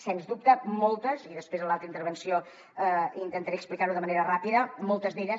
sens dubte i després en l’altra intervenció intentaré explicar ho de manera ràpida moltes d’elles